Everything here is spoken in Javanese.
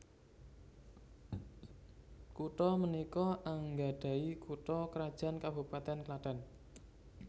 Kuthå menikå anggadahi kutha krajan Kabupatèn Klathen